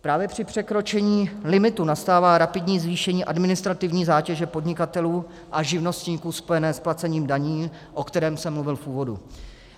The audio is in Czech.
Právě při překročení limitu nastává rapidní zvýšení administrativní zátěže podnikatelů a živnostníků spojené s placením daní, o kterém jsem mluvil v úvodu.